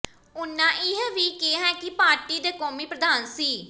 ਉਨ੍ਹਾਂ ਇਹ ਵੀ ਕਿਹਾ ਕਿ ਪਾਰਟੀ ਦੇ ਕੌਮੀ ਪ੍ਰਧਾਨ ਸ